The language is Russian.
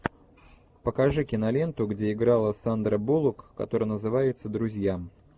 покажи киноленту где играла сандра буллок которая называется друзья